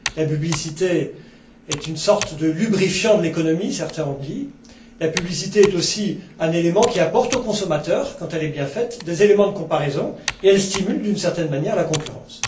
La publicité est une sorte de lubrifiant de l'économie, comme certains l'ont dit, la publicité est aussi un élément qui apporte au consommateur, quand elle est bien faite, des éléments de comparaison, et elle stimule, d'une certaine manière, la concurrence.